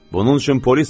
Bunun üçün polis var.